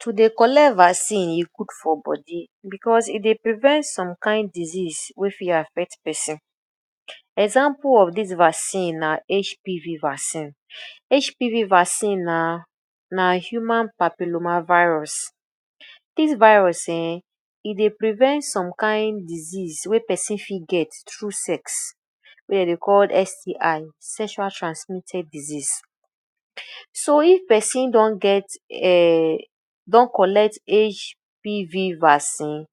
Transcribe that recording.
To dey collect vaccine, e good for body because e dey prevent some kain disease wey fit affect person. Example of dis vaccine na HPV vaccine. HPV vaccine na na Human Papillomavirus. Dis virus um e dey prevent some kain disease wey person fit get through sex, wey dem dey call STI - sexual transmitted disease. So if person don get um don collect HPV vaccine,